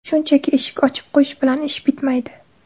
Shunchaki eshik ochib qo‘yish bilan ish bitmaydi.